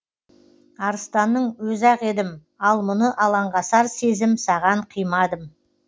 арыстанның өзі ақ едім ал мұны алаңғасар сезім саған қимадым